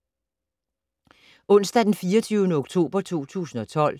Onsdag d. 24. oktober 2012